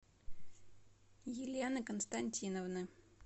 елены константиновны